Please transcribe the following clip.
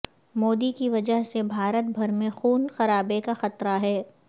مودی کی وجہ سے بھارت بھر میں خون خرابے کا خطرہ ہے